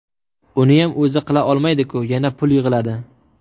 Uniyam o‘zi qila olmaydiku, yana pul yig‘iladi.